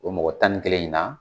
O mɔgɔ tan ni kelen in na